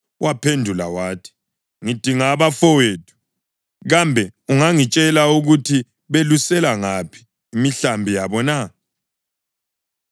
Waphendula wathi, “Ngidinga abafowethu. Kambe ungangitshela ukuthi belusela ngaphi imihlambi yabo na?”